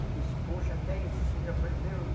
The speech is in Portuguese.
Ele disse, poxa, até isso o senhor aprendeu.